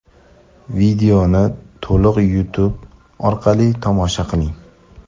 Videoni to‘liq youtube orqali tomosha qiling.